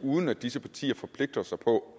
uden at disse partier forpligter sig på